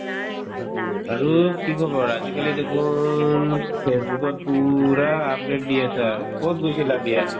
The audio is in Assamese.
আৰু কি খবৰ আজিকালি দেখোন ফেচবুকত পূৰা update দি আছা কত গৈছিলা বিয়াত?